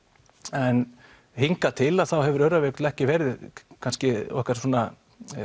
en hingað til þá hefur Öræfajökull ekki verið kannski okkar svona